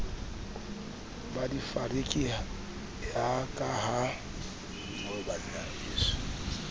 ba difariki ya ka ha